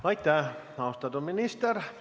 Aitäh, austatud minister!